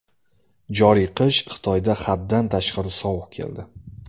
Joriy qish Xitoyda haddan tashqari sovuq keldi.